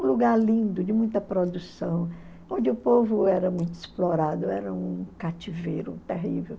Um lugar lindo, de muita produção, onde o povo era muito explorado, era um cativeiro terrível.